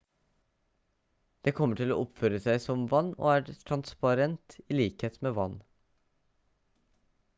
det kommer til å oppføre seg som vann og er transparent i likhet med vann